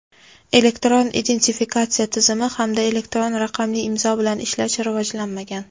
Elektron identifikatsiya tizimi hamda elektron raqamli imzo bilan ishlash rivojlanmagan.